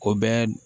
O bɛɛ